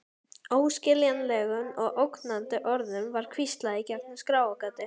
Óskiljanlegum og ógnandi orðum var hvíslað í gegnum skráargati.